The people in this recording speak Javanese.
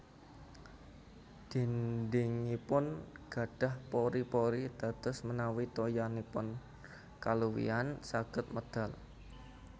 Dhindhingipun gadhah pori pori dados menawi toyanipun kaluwihan saged medal